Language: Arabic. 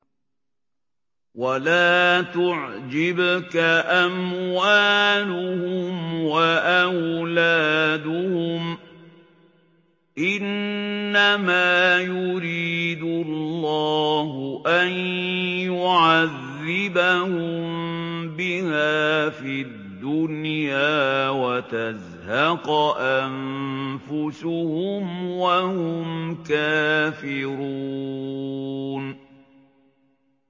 وَلَا تُعْجِبْكَ أَمْوَالُهُمْ وَأَوْلَادُهُمْ ۚ إِنَّمَا يُرِيدُ اللَّهُ أَن يُعَذِّبَهُم بِهَا فِي الدُّنْيَا وَتَزْهَقَ أَنفُسُهُمْ وَهُمْ كَافِرُونَ